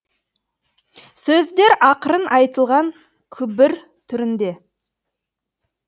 сөздер ақырын айтылған күбір түрінде